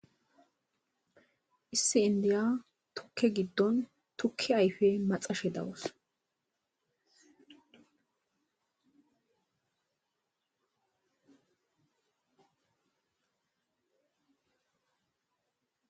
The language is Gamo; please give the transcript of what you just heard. issi indiya tukke giddon tukke ayfe maxashe dawus